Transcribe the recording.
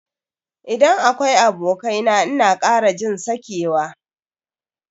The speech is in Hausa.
Idan akwai abokai na ina kara jin sakewa.